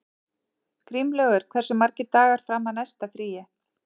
Grímlaugur, hversu margir dagar fram að næsta fríi?